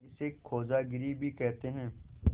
इसे खोजागिरी भी कहते हैं